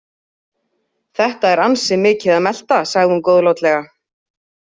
Þetta er ansi mikið að melta, sagði hún góðlátlega.